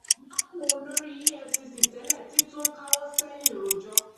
magu olórí efcc tẹlẹ ti tún ń káwọ sẹyìn rojọ